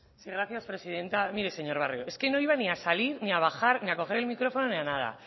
sí gracias presidenta mire señor barrio es que no iba ni a salir ni a bajar ni a coger el micrófono ni a nada